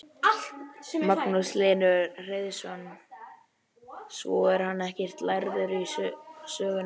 Magnús Hlynur Hreiðarsson: Svo er hann ekkert lærður í söng?